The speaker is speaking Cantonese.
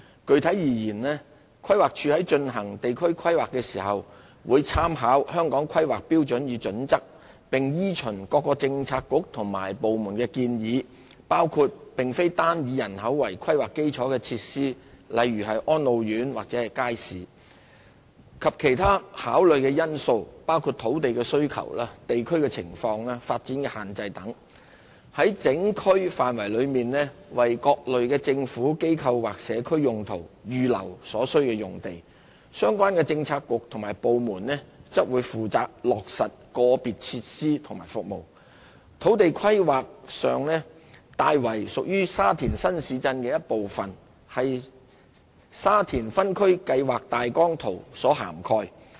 具體而言，規劃署在進行地區規劃時，會參考《香港規劃標準與準則》，並依循各政策局和部門建議，以及考慮其他相關因素，於整區範圍內為各類政府、機構或社區用途預留所需用地。相關政策局/部門則負責落實個別設施和服務。在土地規劃上，大圍屬沙田新市鎮的一部分，為《沙田分區計劃大綱圖》所涵蓋。